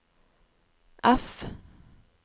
F